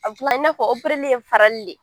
A i n'a fɔ ye farali de ye